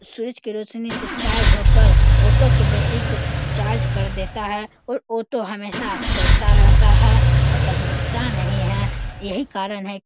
सूर्य की रोशनी से चार्ज होकर ऑटो की बैटरी को चार्ज कर देता है और ऑटो हमेशा चलता रहता है और कभी रुकता नहीं है। यही कारण है --